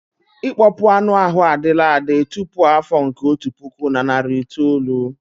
Ịkpọpu anụ ahụ adịla adị tupu afọ nke otu puku na nari itoolu.